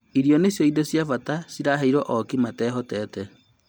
Irio nĩcio indo cia bata ciraheirwo ooki matehotete